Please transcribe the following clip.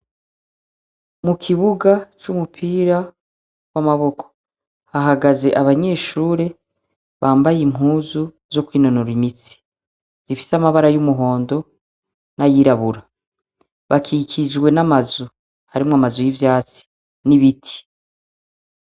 Mu kibuga c'umupira w'amaboko hahagaze abanyeshure bambaye impuzu zo kwinonora imitsi zifise amabara y'umuhondo n'ayirabura bakikijwe n'amazu harimwo amazu y'ivyatsi n'ibiti.